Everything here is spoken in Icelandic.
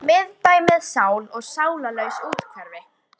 Miðbæ með sál og sálarlaus úthverfi.